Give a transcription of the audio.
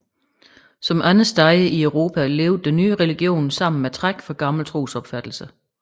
Som andre steder i Europa levede den nye religion sammen med træk fra gamle trosopfattelser